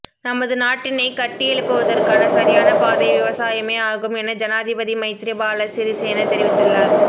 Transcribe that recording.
நமது நாட்டினைக் கட்டியெழுப்புவதற்கான சரியான பாதை விவசாயமே ஆகும் என ஜனாதிபதி மைத்ரிபால சிறிசேன தெரிவித்துள்ளார்